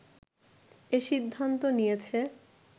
এ সিদ্ধান্ত নিয়েছে